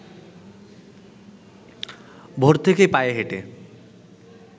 ভোর থেকেই পায়ে হেঁটে